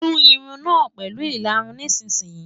Tú irun náà pẹ̀lú ìlarun nísinsìnyí!